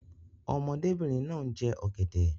Ọmọdébìnrin náà ń jẹ ọ̀gẹ̀dẹ̀.